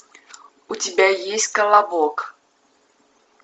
у тебя есть колобок